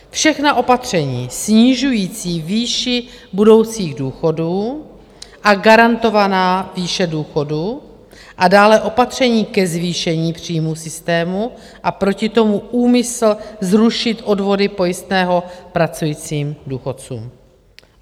Všechna opatření snižující výši budoucích důchodů a garantovaná výše důchodů a dále opatření ke zvýšení příjmů systému a proti tomu úmysl zrušit odvody pojistného pracujícím důchodcům.